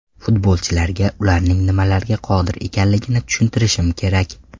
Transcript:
Futbolchilarga ularning nimalarga qodir ekanligini tushuntirishim kerak.